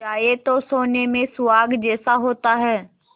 जाए तो सोने में सुहागा जैसा होता है